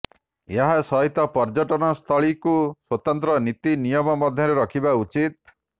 ଏହା ସହିତ ପର୍ଯ୍ୟଟନ ସ୍ଥଳିକୁ ସ୍ୱତନ୍ତ୍ର ନୀତି ନିୟମ ମଧ୍ୟରେ ରଖିବା ଉଚିତ୍